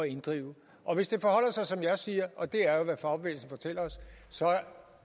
inddrive hvis det forholder sig som jeg siger og det er jo hvad fagbevægelsen fortæller os så